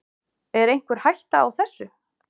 Er einhver hætta á þessu?